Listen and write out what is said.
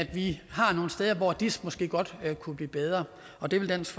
vi har nogle steder hvor dis måske godt kunne blive bedre og det vil dansk